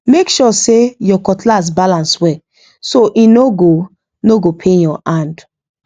make sure say your cutlass balance well so e no go no go pain your hand